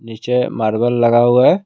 नीचे मार्बल लगा हुआ है।